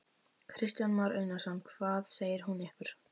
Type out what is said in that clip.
Kristján Már Unnarsson: Hvað segir hún ykkur?